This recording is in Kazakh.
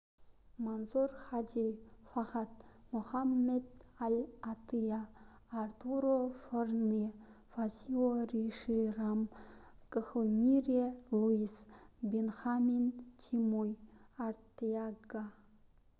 мансур хади фахад мохамед аль-аттыйя артуро фурнье фасио риши рам гхимире луис бенхамин чимой артеага